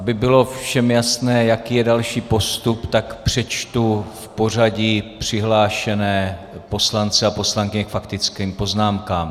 Aby bylo všem jasné, jaký je další postup, tak přečtu v pořadí přihlášené poslance a poslankyně k faktickým poznámkám.